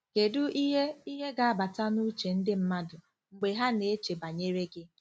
Kedu ihe ihe ga-abata n'uche ndị mmadụ mgbe ha na-eche banyere gị?